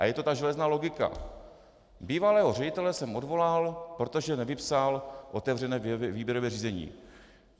A je to ta železná logika: Bývalého ředitele jsem odvolal, protože nevypsal otevřené výběrové řízení.